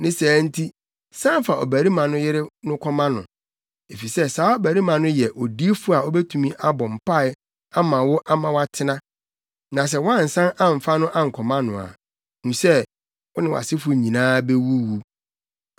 Ne saa nti san fa ɔbarima no yere no kɔma no, efisɛ saa ɔbarima no yɛ odiyifo a obetumi abɔ mpae ama wo ama woatena. Na sɛ woansan amfa no ankɔma no a, hu sɛ, wo ne wʼasefo nyinaa bewuwu.”